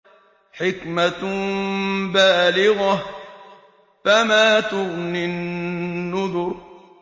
حِكْمَةٌ بَالِغَةٌ ۖ فَمَا تُغْنِ النُّذُرُ